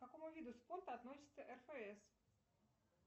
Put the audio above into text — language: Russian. к какому виду спорта относится рфс